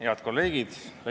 Head kolleegid!